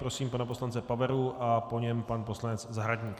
Prosím pana poslance Paveru a po něm pan poslanec Zahradník.